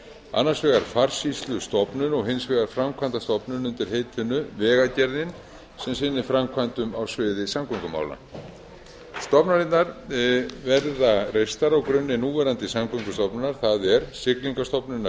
annars vegar farsýslustofnun og hins vegar framkvæmdastofnun undir heitinu vegagerðin sem sinnir framkvæmdum á sviði samgöngumála stofnanirnar verða reistar á grunni núverandi samgöngustofnana það er siglingastofnunar